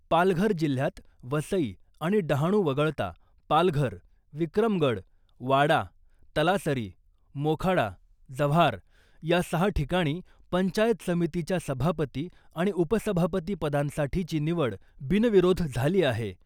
पालघर जिल्ह्यात वसई आणि डहाणु वगळता पालघर , विक्रमगड , वाडा , तलासरी , मोखाडा , जव्हार या सहा ठिकाणी पंचायत समितीच्या सभापती आणि उपसभापती पदांसाठीची निवड बिनविरोध झाली आहे .